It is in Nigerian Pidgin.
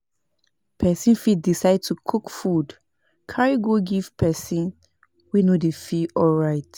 Persin fit decide to cook food carry go give persin wey no de feel alright